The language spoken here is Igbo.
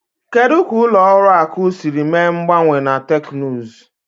Kedu ka ụlọ akụ siri mee mgbanwe na teknụzụ?